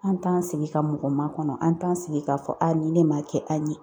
An t'an sigi ka mɔgɔ makɔnɔ , an t'an sigi k'a fɔ aa nin ne ma kɛ an ye.